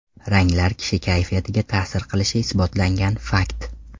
Ranglar kishi kayfiyatiga ta’sir qilishi isbotlangan fakt.